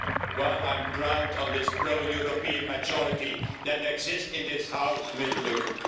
Well, I'm proud of this pro European majority that exists in this House, Mr Legutko.